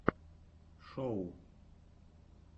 шоу